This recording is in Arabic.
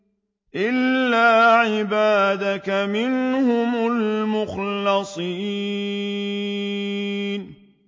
إِلَّا عِبَادَكَ مِنْهُمُ الْمُخْلَصِينَ